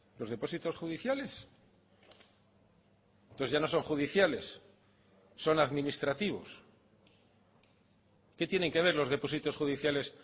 los depósitos judiciales entonces ya no son judiciales son administrativos qué tienen que ver los depósitos judiciales